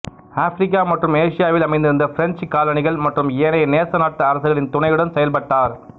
Africa மற்றும் ஆசியாவில் அமைந்திருந்த பிரெஞ்சுக் காலனிகள் மற்றும் ஏனைய நேச நாட்டு அரசுகளின் துணையுடன் செயல்பட்டார்